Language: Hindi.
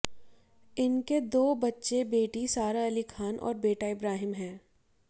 इनके दो बच्चे बेटी सारा अली खान और बेटा इब्राहिम है